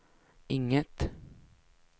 inget